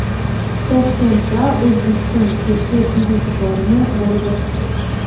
Toshkentda O‘zbekiston Chexiya biznes-forumi bo‘lib o‘tdi.